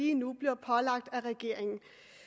lige nu bliver pålagt af regeringen